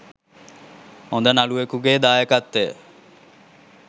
හොඳ නළුවෙකුගෙ දායකත්වය